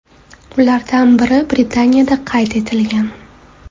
Ulardan biri Britaniyada qayd etilgan.